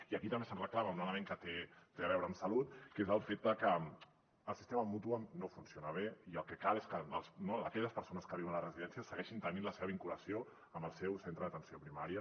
i aquí també se’ns reclama un element que té a veure amb salut que és el fet que el sistema mútua no funciona bé i el que cal és que no aquelles persones que viuen a les residències segueixin tenint la seva vinculació amb el seu centre d’atenció primària